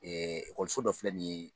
ekɔliso dɔ filɛ nin ye.